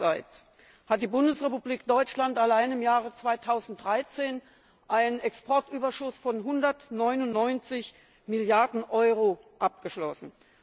Andererseits hat die Bundesrepublik Deutschland allein im Jahr 2013 einen Exportüberschuss von 199Milliarden Euro abgeschlossen.